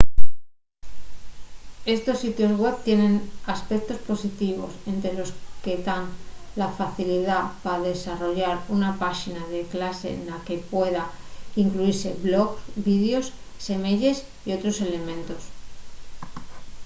estos sitios web tienen aspectos positivos ente los que tán la facilidá pa desarrollar una páxina de clase na que puedan incluise blogs vídeos semeyes y otros elementos